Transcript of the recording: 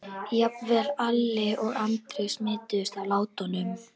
Jafnvel Alla og Andri smituðust af látunum.